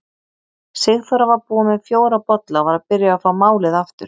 Sigþóra var búin með fjóra bolla og var að byrja að fá málið aftur.